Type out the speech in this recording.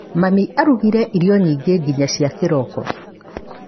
Mami arugire irio nyingĩ nginya cia kĩroko.